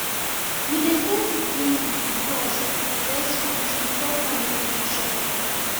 we dey first give the gods the first fruit before family fit chop am